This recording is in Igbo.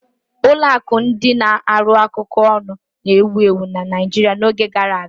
Ụlọ akụ ndị na-arụkọ ọrụ ọnụ na-ewu ewu na Naijiria n'oge gara aga.